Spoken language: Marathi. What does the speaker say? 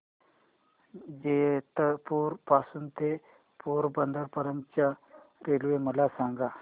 जेतपुर पासून ते पोरबंदर पर्यंत च्या रेल्वे मला सांगा